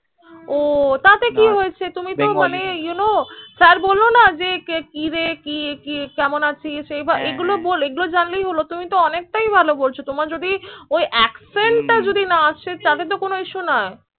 ও টা তে কি হয়েছে তুমি তো মানে You Know স্যার বললো না কি রে কেমন আছিস হ্য়াঁ হ্য়াঁ এই গুলো জানলে হল তুমি তো অনেক তাই ভালো বলছো তোমার যদি হু ওই accent টা না আছে তাহলে তো কোন issue নাই